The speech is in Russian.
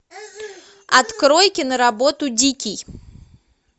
открой киноработу дикий